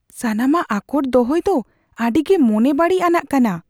ᱥᱟᱱᱟᱢᱟᱜ ᱟᱠᱚᱴ ᱫᱚᱦᱚᱭ ᱫᱚ ᱟᱹᱰᱤ ᱜᱮ ᱢᱚᱱᱮ ᱵᱟᱹᱲᱤᱡ ᱟᱱᱟᱜ ᱠᱟᱱᱟ ᱾